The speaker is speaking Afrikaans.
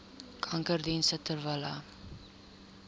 kankerdienste ter wille